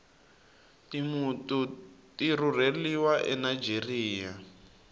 timtu tirureliwa anigeria